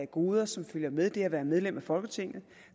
goder som følger med det at være medlem af folketinget